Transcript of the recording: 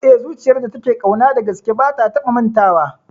Eh, zuciyar da take ƙauna dagaske ba ta taba mantawa